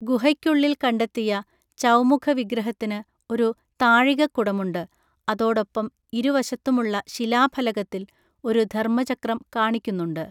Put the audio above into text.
ഗുഹയ്ക്കുള്ളിൽ കണ്ടെത്തിയ ചൗമുഖ വിഗ്രഹത്തിന് ഒരു താഴികക്കുടമുണ്ട് അതോടൊപ്പം ഇരുവശത്തുമുള്ള ശിലാഫലകത്തിൽ ഒരു ധർമ്മചക്രം കാണിക്കുന്നുണ്ട്.